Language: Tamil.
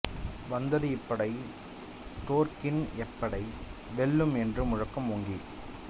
வந்தது இப்படை தோற்கின் எப்படை வெல்லும் என்ற முழக்கம் ஓங்கி